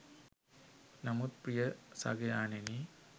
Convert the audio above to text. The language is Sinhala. නමුත් ප්‍රිය සගයාණෙනි